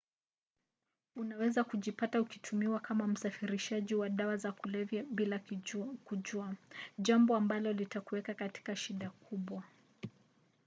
unaweza kujipata ukitumiwa kama msafirishaji wa dawa za kulevya bila kujua jambo ambalo litakuweka katika shida kubwa